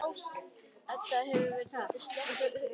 Edda hefur verið dálítið slöpp síðustu vikurnar.